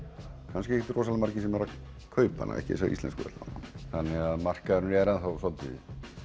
kannski ekkert rosalega margir sem eru að kaupa hana þessar íslensku allavega þannig að markaðurinn er enn þá svolítið